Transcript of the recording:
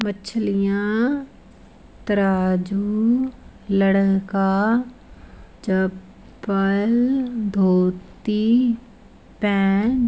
मछलियां तराजू लड़का चप्पल धोती पेंट --